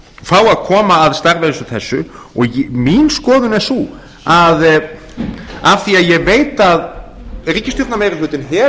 fá að koma að starfi eins og þessu mín skoðun er sú af því að ég veit að ríkisstjórnarmeirihlutinn